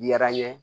Yara n ye